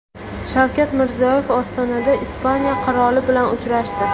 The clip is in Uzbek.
Shavkat Mirziyoyev Ostonada Ispaniya qiroli bilan uchrashdi.